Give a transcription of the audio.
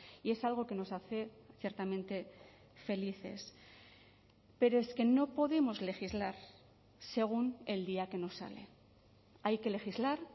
y es algo que nos hace ciertamente felices pero es que no podemos legislar según el día que nos sale hay que legislar